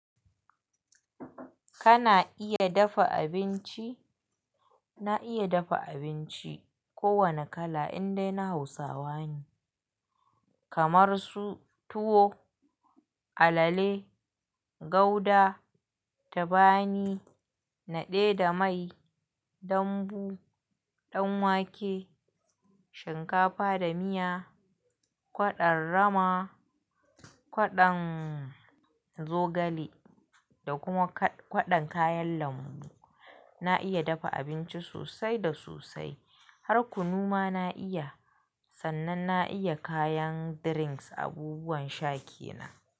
Kana iya dafa abinci? Na iya dafa abinci ko wane kala indai na Hausawa ne. Kamar su tuwo, alale, gauda, tabani, naɗe da mai, dambu, ɗan wake, shinkafa da miya, kwaɗon rama, kwaɗon zogale da kuma kwaɗon kayan lambu. Na iya dafa abinci sosai da sosai. Har kunu ma na iya. Sannan na iya kayan drinks, abubuwan sha kenan.